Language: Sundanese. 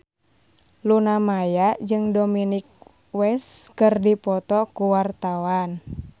Luna Maya jeung Dominic West keur dipoto ku wartawan